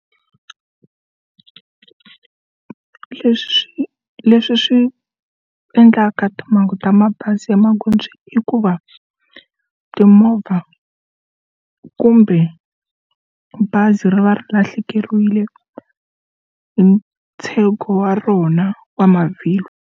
Leswi swi leswi swi endlaka timhangu ta mabazi emaghondzweni i ku va timovha kumbe bazi ri va ri lahlekeriwile hi ntsengho wa rona wa mavhilwa.